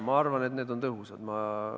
Ma arvan, et need on tõhusad.